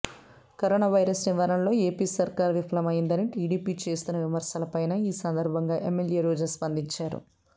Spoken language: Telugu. కరోనావైరస్ నివారణలో ఏపీ సర్కార్ విఫలమైందని టీడీపి చేస్తోన్న విమర్శలపైనా ఈ సందర్భంగా ఎమ్మెల్యే రోజా స్పందించారు